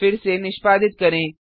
फिर से निष्पादित करें